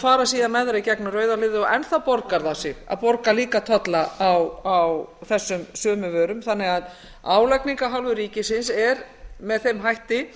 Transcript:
fara síðan með þær í gegnum rauða hliðið og enn þá borgar það sig að borga líka tolla á þessum sömu vörum þannig að álagning af hálfu ríkisins er með þeim hætti